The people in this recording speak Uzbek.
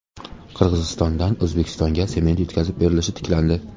Qirg‘izistondan O‘zbekistonga sement yetkazib berilishi tiklandi.